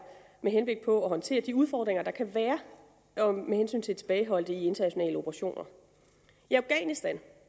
med henblik på at håndtere de udfordringer der kan være med hensyn til tilbageholdte i internationale operationer i afghanistan